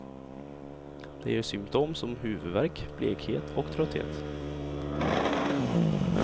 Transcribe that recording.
Det ger symtom som huvudvärk, blekhet och trötthet.